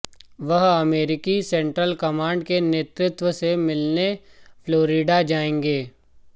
वह अमेरिकी central command के नेतृत्व से मिलने फ्लोरिडा जाएंगे